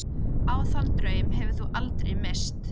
Og sagði að hann hefði tafist aðeins.